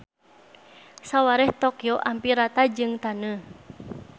Sawareh Tokyo ampir rata jeung taneuh.